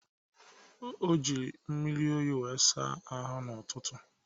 O ji mmiri oyi were saa ahụ n'ụtụtụ